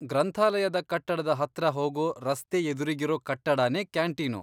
ಗ್ರಂಥಾಲಯದ ಕಟ್ಟಡದ ಹತ್ರ ಹೋಗೋ ರಸ್ತೆ ಎದುರಿಗಿರೋ ಕಟ್ಟಡನೇ ಕ್ಯಾಂಟೀನು.